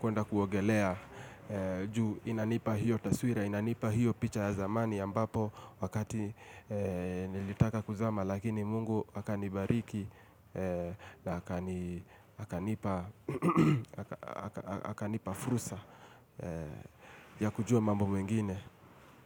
kwenda kuogelea. Juu inanipa hiyo taswira, inanipa hiyo picha ya zamani ambapo wakati nilitaka kuzama. Lakini mungu akanibariki na akanipa fursa ya kujua mambo mengine.